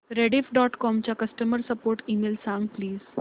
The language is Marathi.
रेडिफ डॉट कॉम चा कस्टमर सपोर्ट ईमेल सांग प्लीज